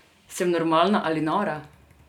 Sem normalna ali nora?